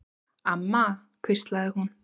Amma, hvíslaði hún.